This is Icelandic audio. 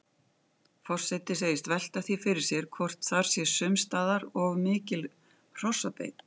Forseti segist velta því fyrir sér hvort þar sé sums staðar of mikil hrossabeit.